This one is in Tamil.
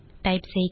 நாம் இதை செய்யலாம்